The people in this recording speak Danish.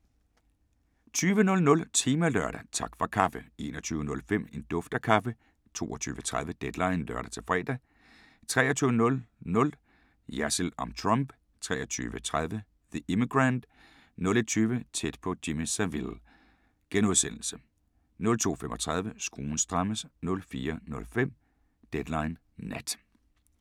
20:00: Temalørdag: Tak for kaffe 21:05: En duft af kaffe 22:30: Deadline (lør-fre) 23:00: Jersild om Trump 23:30: The Immigrant 01:20: Tæt på Jimmy Savile * 02:35: Skruen strammes 04:05: Deadline Nat